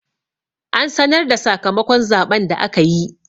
An sanar da sakamakon zaɓen da aka yi.